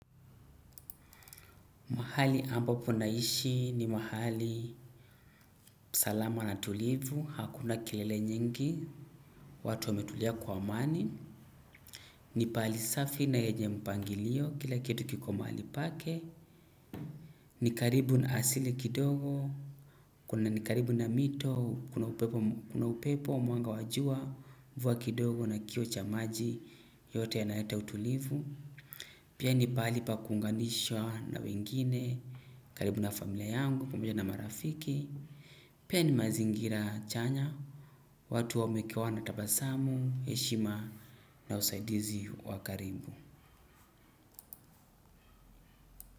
Mahali ambapo naishi ni mahali salama na tulivu, hakuna kelele nyingi watu wametulia kwa amani. Ni pahali safi na yenye mpangilio, kila kitu kiko mahali pake. Ni karibu na asili kidogo, ni karibu na mito, kuna upepo, mwanga wajua, mvua kidogo na kioo cha maji yote yanayeta utulivu. Pia ni pahali pa kunganishwa na wengine, karibu na familia yangu, pamoja na marafiki. Pia ni mazingira chanya, watu wamekuwa na tabasamu, heshima na usaidizi wakaribu.